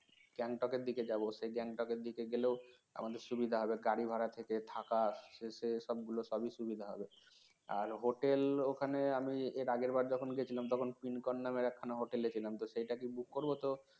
gangtok এর দিকে যাব সেই Gangtok এর দিকে গেলেও আমাদের সুবিধা হবে গাড়ি ভাড়া থেকে থাকা সে সব গুলো সবই সুবিধা হবে আর hotel ওখানে আমি এর আগেরবার যখন গিয়েছিলাম তখন pincon নামের একখানা hotel এ ছিলাম তো সেটা কি book করব তো